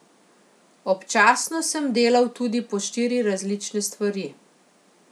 Občasno sem delal tudi po štiri različne stvari.